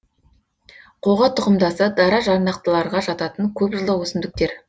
қоға тұқымдасы дара жарнақтыларға жататын көп жылдық өсімдіктер